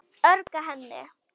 Ögra henni.